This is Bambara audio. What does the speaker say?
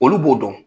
Olu b'o dɔn